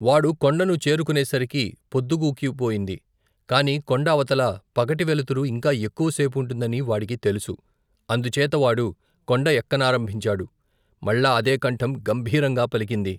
వాడు కొండను చేరుకునేసరికి పొద్దుగూకి పొయింది. కాని కొండ అవతల పగటి వెలుతురు ఇంకా ఎక్కువ సేపుంటుందని వాడికి తెలుసు. అందుచేత వాడు కొండ ఎక్కనారంభించాడు. మళ్ళా అదె కంఠం గంభీరంగా పలికింది